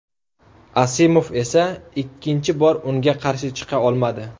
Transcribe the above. Asimov esa ikkinchi bor unga qarshi chiqa olmadi.